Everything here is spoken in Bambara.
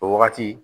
O wagati